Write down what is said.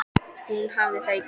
Og hún hafði það í gegn.